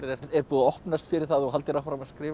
er búið að opnast fyrir það að þú haldir áfram að skrifa